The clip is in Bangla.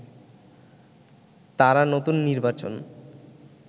তারা নতুন নির্বাচন